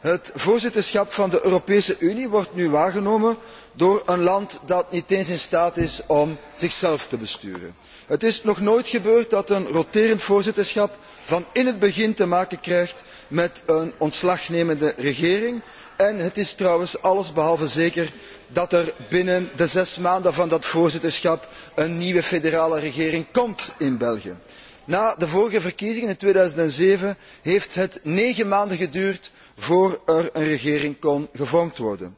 Het voorzitterschap van de Europese Unie wordt nu waargenomen door een land dat niet eens in staat is om zichzelf te besturen. Het is nog nooit gebeurd dat een roterend voorzitterschap van in het begin te maken krijgt met een demissionaire regering en het is trouwens alles behalve zeker dat er binnen de zes maanden van dat voorzitterschap een nieuwe federale regering komt in België. Na de vorige verkiezingen in 2007 heeft het negen maanden geduurd voor er een regering kon worden gevormd.